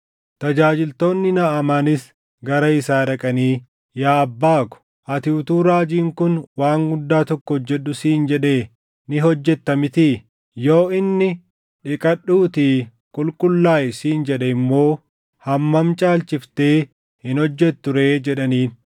Tajaajiltoonni Naʼamaanis gara isaa dhaqanii, “Yaa abbaa ko, ati utuu raajiin kun waan guddaa tokko hojjedhu siin jedhee ni hojjetta mitii? Yoo inni, ‘Dhiqadhuutii qulqullaaʼi’ siin jedhe immoo hammam caalchiftee hin hojjettu ree?” jedhaniin.